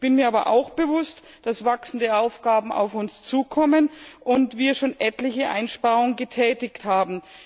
Ich bin mir aber auch bewusst, dass wachsende Aufgaben auf uns zukommen und wir schon etliche Einsparungen getätigt haben.